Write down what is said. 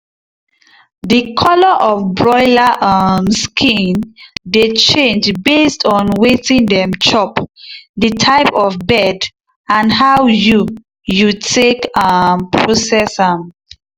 the colour of broiler um skin dey change based on wetin dem chop the type of bird and how you you take um process am.